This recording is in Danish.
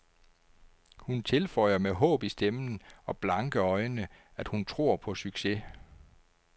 Hun tilføjer med håb i stemmen og blanke øjne, at hun tror på succes.